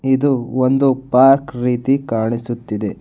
ಇದು ಒಂದು ಪಾರ್ಕ್ ರೀತಿ ಕಾಣಿಸುತ್ತಿದೆ.